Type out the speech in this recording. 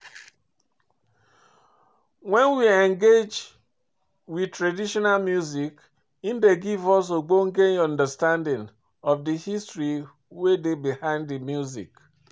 When we engage with traditional music, im dey give us ogbonge understanding of di history wey dey behind di music